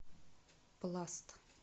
пласт